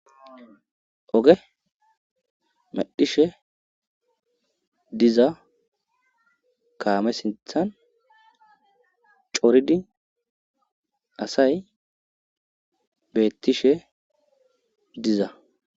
Oge madhishe diza kaame sinthan coridi asay beettishe diza.